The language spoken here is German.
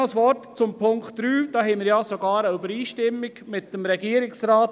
Noch ein Wort zum dritten Satz: Hier gibt es eine Übereinstimmung mit dem Regierungsrat.